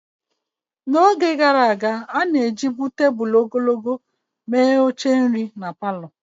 N'oge gaara aga, a na-ejibu tebụl ogologo mere oche nri na palọ.